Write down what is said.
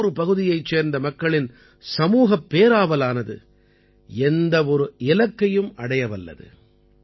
எந்த ஒரு பகுதியைச் சேர்ந்த மக்களின் சமூகப் பேராவலானது எந்த ஒரு இலக்கையும் அடைய வல்லது